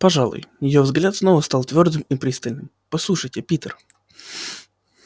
пожалуй её взгляд снова стал твёрдым и пристальным послушайте питер